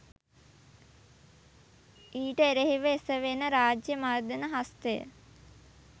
ඊට එරෙහිව එසෙවෙන රාජ්‍ය මර්ධන හස්තය